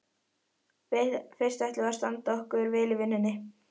Fyrst ætlum við að standa okkur vel í vinnunni.